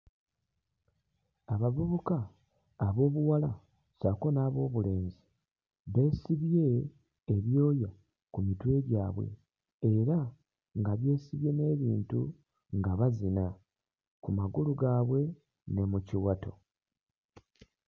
Abavubuka ab'obuwala ssaako n'ab'obulenzi beesibye ebyoya ku mitwe gyabwe era nga beesibye n'ebintu nga bazina ku magulu gaabwe ne mu kiwato.